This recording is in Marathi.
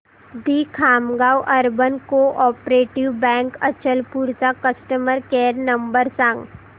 दि Khamgaon urban cooperative bank Achalpur चा कस्टमर केअर नंबर सांग